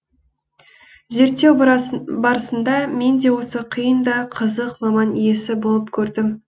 зерттеу барысында мен де осы қиын да қызық маман иесі болып көрдім